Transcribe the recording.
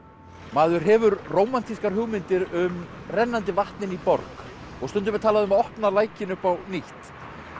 maður hefur rómantískar hugmyndir um rennandi vatn inni í borg og stundum er talað um að opna lækinn upp á nýtt